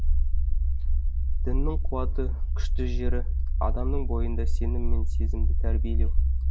діннің қуаты күшті жері адамның бойында сенім деген сезімді тәрбиелеу